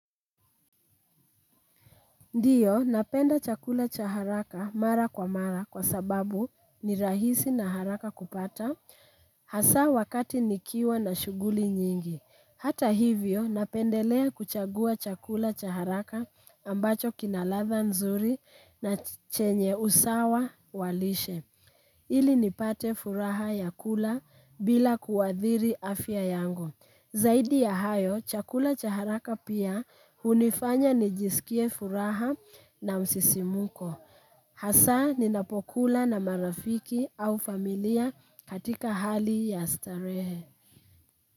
Ndio, napenda chakula cha haraka mara kwa mara kwa sababu ni rahisi na haraka kupata hasa wakati nikiwa na shughuli nyingi. Hata hivyo, napendelea kuchagua chakula cha haraka ambacho kinaladha nzuri na chenye usawa walishe. Ili nipate furaha ya kula bila kuwadhiri afya yango. Zaidi ya hayo, chakula cha haraka pia hunifanya ni jisikie furaha na msisimuko. Hasa ninapo kula na marafiki au familia katika hali ya starehe.